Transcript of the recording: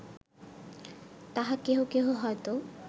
তাহা কেহ কেহ হয়ত